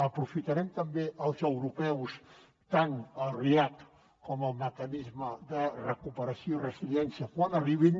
aprofitarem també els europeus tant els react com el mecanisme de recuperació resiliència quan arribin